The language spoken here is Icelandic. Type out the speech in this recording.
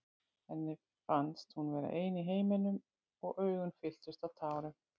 Henni fannst hún vera ein í heiminum og augun fylltust af tárum.